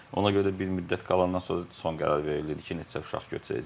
Ona görə də bir müddət qalandan sonra da son qərar verilirdi ki, neçə uşaq götürəcəyik.